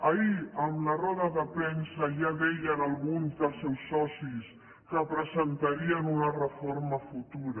ahir en la roda de premsa ja deien alguns dels seus socis que presentarien una reforma futura